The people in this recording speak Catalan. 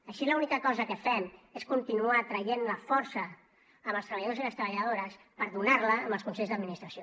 així l’única cosa que fem és continuar traient la força als treballadors i les treballadores per donar la als consells d’administració